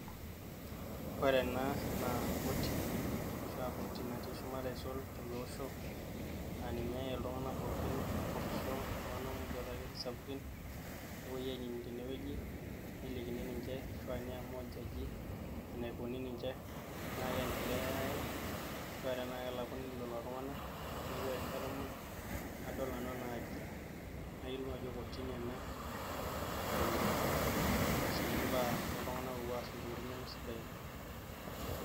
Ore ena naa koti, ashua koti natii shumata aisul teleosho, aa ninye iltung'anak pooki, ilpurrisho, iltung'anak muj oota ilkesin sapukin nepuoi ainining' tenewueji, nelikini ninche ashua neamua oljaji eneikuni ninche tenaa keendelea aen ashua tenaa kelakuni lelo tung'anak. Neeku ore rishata muj nadol nanu enaaji nayiolou ajo kotini ena nalo aitasheiki mbaa ooltung'anak oopuo aas ntokitin nemesidain.